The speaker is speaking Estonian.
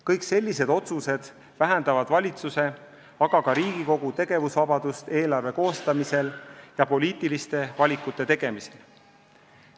Kõik sellised tegurid vähendavad valitsuse, aga ka Riigikogu tegevusvabadust eelarve üle otsustamisel ja poliitiliste valikute tegemisel.